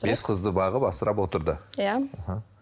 бес қызды бағып асырап отырды иә іхі